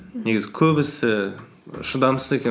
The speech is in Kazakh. негізі көбісі шыдамсыз екен